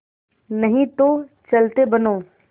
नहीं तो चलते बनो